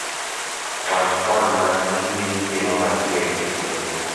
kwan kwan mag gige chiemo mantiere e chenro